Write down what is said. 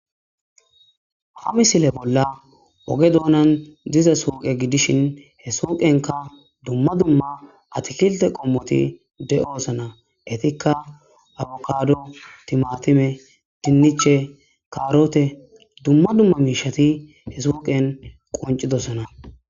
Ha misile bolla oge doonan dize suuqe gidishin he suuqenka dumma dumma atikilte qommoti de'oosana etikka awokado timatime dinniche kaarote dumma dumma miishati he suuqen qoncidossana.